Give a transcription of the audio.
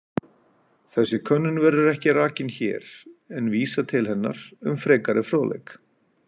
Þessi könnun verður ekki rakin hér en vísað til hennar um frekari fróðleik.